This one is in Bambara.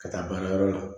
Ka taa baarayɔrɔ la